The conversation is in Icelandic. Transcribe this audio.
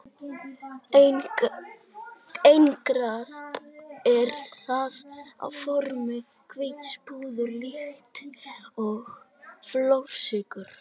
Einangrað er það á formi hvíts púðurs líkt og flórsykur.